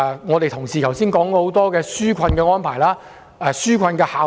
有同事剛才提出多項紓困安排及其效用。